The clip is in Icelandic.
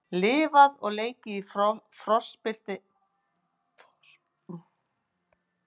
Lifað og leikið í frostbitinni höfuðborg